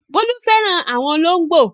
Bólú fẹ́ràn àwọn olóńgbò.